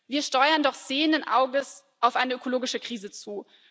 Wir steuern doch sehenden Auges auf eine ökologische Krise zu.